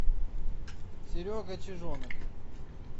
серега чижонок